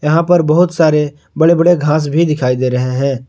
यहां पर बहुत सारे बड़े बड़े घास भी दिखाई दे रहे हैं।